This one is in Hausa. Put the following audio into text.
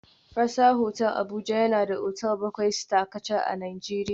Fraser Hotel Abuja yana da otal bakwai Star kacal a Najeriya